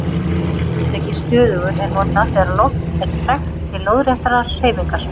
Hugtakið stöðugur er notað þegar loft er tregt til lóðréttrar hreyfingar.